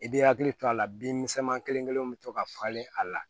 I bɛ hakili to a la bin misɛnmanin kelen bɛ to ka falen a la